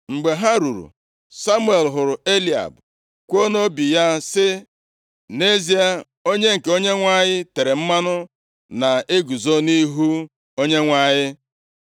Mgbe ha ruru, Samuel hụrụ Eliab kwuo nʼobi ya sị, “Nʼezie, onye nke Onyenwe anyị tere mmanụ na-eguzo nʼihu Onyenwe anyị.”